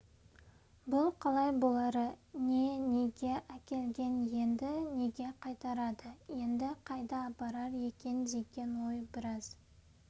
бұл қалай бұлары не неге әкелген енді неге қайтарады енді қайда апарар екен деген ой біраз